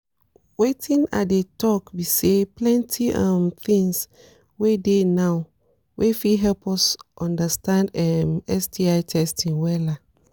wetin i dey talk be say plenty um things dey now wey fit help us understand um sti testing wella